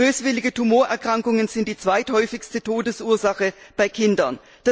Böswillige Tumorerkrankungen sind die zweithäufigste Todesursache bei Kindern.